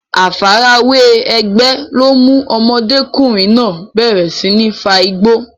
Àfarawé ẹgbẹ́ ló mú ọmọdékùnrin náà bẹ̀rẹ̀ sí ní fa igbó.